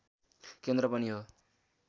केन्द्र पनि हो